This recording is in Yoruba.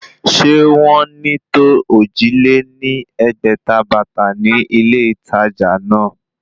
Sé wọ́n ní tó ojì lé ní ẹgbẹ́ta bàtà ní ilé ìtàjà náà?